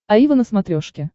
аива на смотрешке